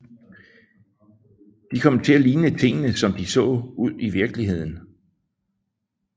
De kom til at ligne tingene som de så ud i virkeligheden